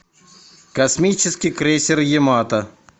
космический крейсер ямато